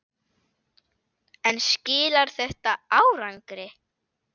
En skilar þetta árangri?